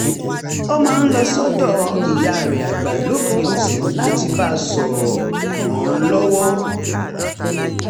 ó máa ń lọ sọ́dọ̀ ìyá rẹ̀ àgbà lópin ọ̀sẹ̀ láti bá a sọ̀rọ̀ ràn án lọ́wọ́